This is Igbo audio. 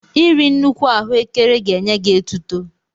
Iri nnukwu ahụekere ga-enye gị etuto.